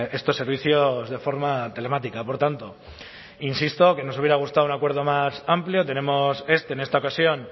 estos servicios de forma telemática por tanto insisto que nos hubiera gustado un acuerdo más amplio tenemos este en esta ocasión